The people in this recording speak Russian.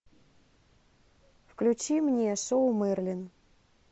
включи мне шоу мерлин